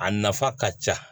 A nafa ka ca